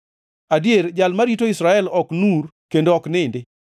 adier, Jal marito Israel ok nur kendo ok nindi.